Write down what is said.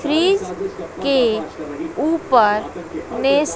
fridge के ऊपर मेज--